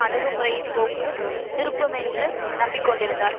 அணுகுமுறையைப்போக்கு திருப்புமென்று நம்பிக்கொண்டிருந்தார்